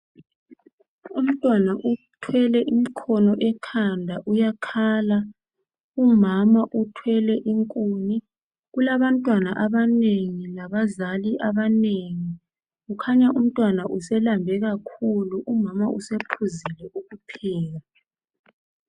Umntwana uthwele imkhono ekhanda uyakhala. Umama uthwele inkuni. Kulabantwana abanengi labazali abanengi . Kukhanya umntwana uselambile umama usephuze ukupheka .